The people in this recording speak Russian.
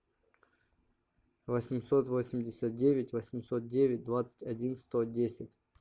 восемьсот восемьдесят девять восемьсот девять двадцать один сто десять